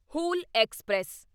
Hul express